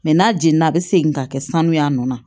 Mɛ n'a jeni na a bɛ segin ka kɛ sanuya a nɔ na